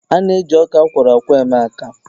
A na-eji ọka akwọrọ akwọ eme akamụ